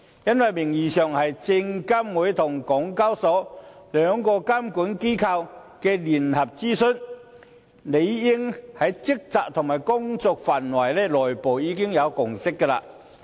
因為名義上是證監會與港交所兩個監管機構的聯合諮詢，理應在職責和工作範圍上已有內部共識。